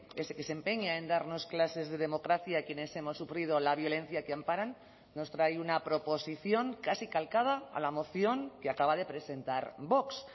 ese que se empeña en darnos clases de democracia a quienes hemos sufrido la violencia que amparan nos trae una proposición casi calcada a la moción que acaba de presentar vox